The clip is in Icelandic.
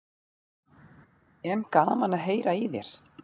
En gaman að heyra í þér.